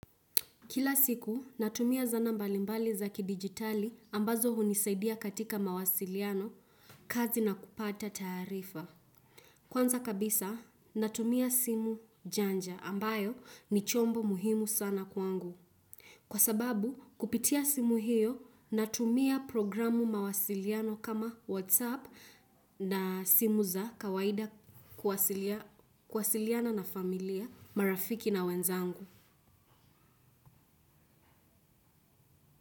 Kila siku, natumia zana mbali mbali za kidijitali ambazo hunisaidia katika mawasiliano, kazi na kupata taarifa. Kwanza kabisa, natumia simu janja ambayo ni chombo muhimu sana kwangu. Kwa sababu, kupitia simu hiyo, natumia programu mawasiliano kama WhatsApp na simu za kawaida kuwasiliana na familia, marafiki na wenzangu.